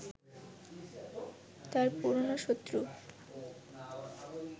তার পুরনো শত্রু